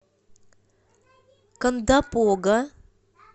кондопога